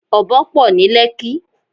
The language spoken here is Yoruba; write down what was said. Ọ̀bọ pọ̀ ní Lẹ́kí.